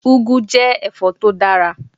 Úgu jẹ́ ẹ̀fọ́ tó dára.